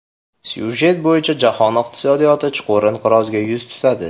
Syujet bo‘yicha jahon iqtisodiyoti chuqur inqirozga yuz tutadi.